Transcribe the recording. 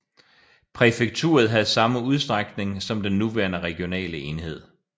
Præfekturet havde samme udstrækning som den nuværende regionale enhed